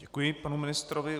Děkuji panu ministrovi.